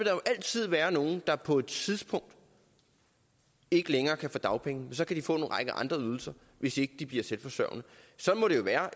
jo altid være nogle der på et tidspunkt ikke længere kan få dagpenge men så kan de få en række andre ydelser hvis ikke de bliver selvforsørgende sådan må det jo være